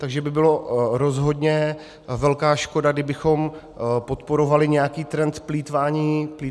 Takže by byla rozhodně velká škoda, kdybychom podporovali nějaký trend plýtvání s jídlem.